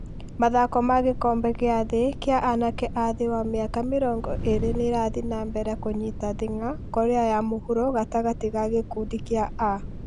Mathako magĩkombe gĩa thĩ kĩa anake a thĩ wa mĩaka mĩrongo ĩrĩ nĩ ĩrathiĩ na mbere kũnyita thing'a korea ya mũhuro gatagatĩ ga gĩkundi kĩa A